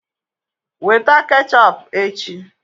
Weta ketchọp echi!